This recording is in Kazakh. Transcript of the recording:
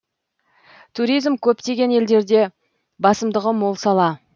туризм көптеген елдерде басымдығы мол сала